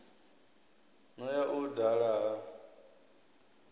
no ya u dala ha